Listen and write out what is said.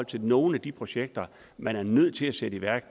til nogle af de projekter man er nødt til at sætte i værk